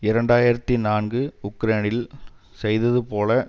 இரண்டு ஆயிரத்தி நான்கு உக்ரேனில் செய்தது போல்